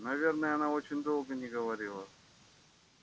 наверное она очень долго не говорила